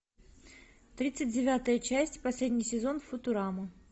тридцать девятая часть последний сезон футурама